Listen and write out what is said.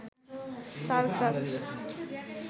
তার কাজ